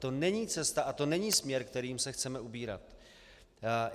To není cesta a to není směr, kterým se chceme ubírat.